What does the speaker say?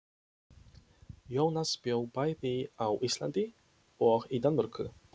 Jónas bjó bæði á Íslandi og í Danmörku.